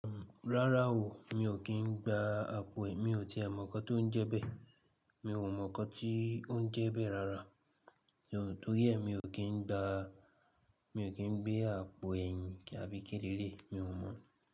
Rárá o, mi ò kí ń gba àpò ẹe, mi ò ti mọ̀ ọkọ tó ń jẹ bẹ́ẹ̀. Mi ò mọ n kọ tí ó ń jẹ bẹ́ẹ̀ rárá, ṣùgbọ́n tó yẹn mi ò kí ń gba, mi ò kí ń gbé àpò ẹyìn àbí kíni lele, mi ò mọ̀